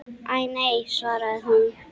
Æ, nei svaraði hún.